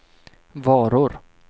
varor